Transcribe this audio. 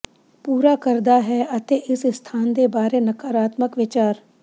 ਪੂਰਾ ਕਰਦਾ ਹੈ ਅਤੇ ਇਸ ਸਥਾਨ ਦੇ ਬਾਰੇ ਨਕਾਰਾਤਮਕ ਵਿਚਾਰ